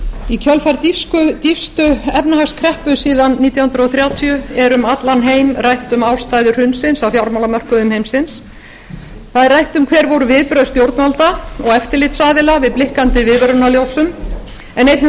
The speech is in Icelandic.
í kjölfar fyrstu efnahagskreppu síðan nítján hundruð þrjátíu er um allan heim rætt um ástæður hrunsins á fjármálamörkuðum heimsins það er rætt um hver voru viðbrögð stjórnvalda og eftirlitsaðila við blikkandi viðvörunarljósum en einnig um nauðsyn